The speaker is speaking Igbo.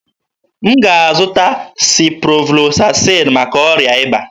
M ga-azụta Siproflozasịn maka ọrịa ịba.